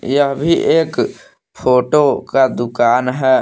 यह भी एक फोटो का दुकान है।